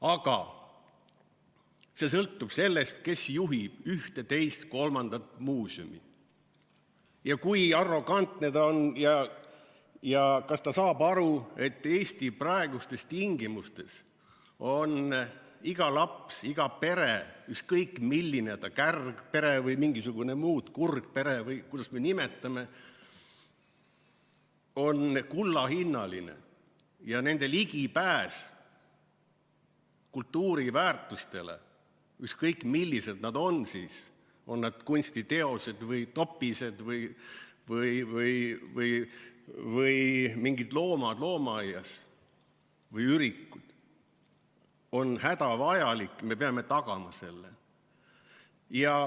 Aga kõik sõltub sellest, kes juhib ühte-teist-kolmandat muuseumi ja kui arrogantne ta on ja kas ta saab aru, et Eesti praegustes tingimustes on iga laps, iga pere, ükskõik milline, on ta kärgpere või mingisugune muu, kurgpere või kuidas me nimetame, kullahinnaline, ja nende ligipääs kultuuriväärtustele, ükskõik millised nad siis on, on need kunstiteosed või topised või mingid loomad loomaaias või ürikud, on hädavajalik, me peame tagama selle.